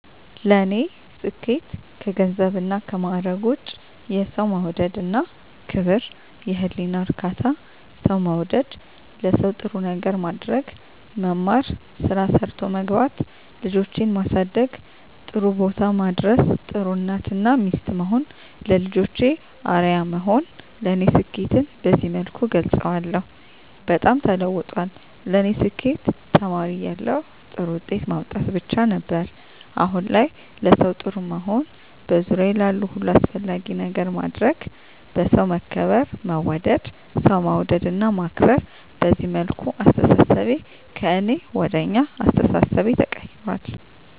ለኔ ስኬት ከገንዘብና ከማዕረግ ውጭ የሠው መውደድ እና ክብር፤ የህሊና እርካታ፤ ሠው መውደድ፤ ለሠው ጥሩ ነገር ማድረግ፤ መማር፤ ስራ ሠርቶ መግባት፤ ልጆቼን ማሠደግ ጥሩቦታ ማድረስ፤ ጥሩ እናት እና ሚስት መሆን፤ ለልጆቼ አርያ መሆን ለኔ ስኬትን በዚህ መልኩ እገልፀዋለሁ። በጣም ተለውጧል ለኔ ስኬት ተማሪ እያለሁ ጥሩ ውጤት ማምጣት ብቻ ነበር። አሁን ላይ ለሠው ጥሩ መሆን፤ በዙሪያዬ ላሉ ሁሉ አስፈላጊ ነገር ማድረግ፤ በሠው መከበር መወደድ፤ ሠው መውደድ እና ማክበር፤ በዚህ መልኩ አስተሣሠቤ ከእኔ ወደ አኛ አስተሣሠቤ ተቀይራል።